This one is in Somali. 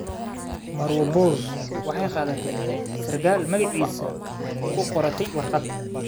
Marwo Bose waxay qaadatay sarkaalka magaciisa oo ku qortay warqad.